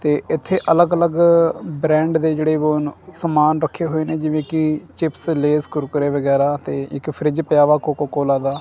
ਤੇ ਇੱਥੇ ਅੱਲਗ-ਅੱਲਗ ਬ੍ਰੈਂਡ ਦੇ ਜਿਹੜੇ ਵੋ ਹਨ ਸਮਾਨ ਰੱਖੇ ਹੋਏ ਨੇਂ ਜਿਵੇਂ ਕੀ ਚਿੱਪਸ ਲੇਜ਼ ਕੁਰਕੁਰੇ ਵਗੈਰਾ ਅਤੇ ਇੱਕ ਫਰਿੱਜ ਪਿਆ ਵਾਹ ਕੋਕੋ-ਕੋਲਾ ਦਾ।